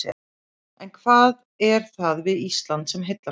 En hvað er það við Ísland sem heillar svona?